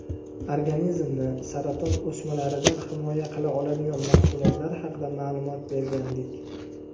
organizmni saraton o‘smalaridan himoya qila oladigan mahsulotlar haqida ma’lumot bergandik.